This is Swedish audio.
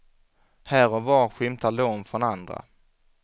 Här och var skymtar lån från andra.